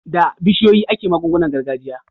Da bishiyoyi ake magungunan gargajiya.